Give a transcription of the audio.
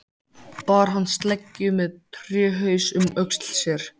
Bar hann sleggju með tréhaus um öxl sér.